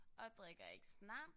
Og drikker ikke snaps